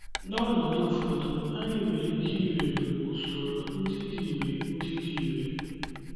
N’ọnọdụ ụfọdụ, anyị nwere ike iwere usoro ndị dị irè ndị dị irè.